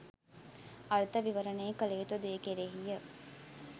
අර්ථ විවරණය කළ යුතු දේ කෙරෙහිය.